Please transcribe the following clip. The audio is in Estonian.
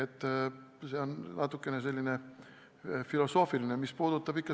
Aga see on natukene selline filosoofiline teema.